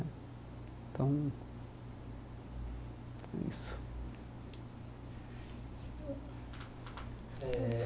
Então, é isso. Eh